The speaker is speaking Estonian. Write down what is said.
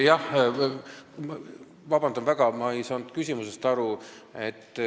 Ma palun vabandust, aga ma ei saanud küsimusest aru.